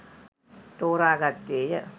තෝරා ගත්තේය